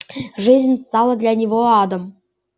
жизнь стала для него адом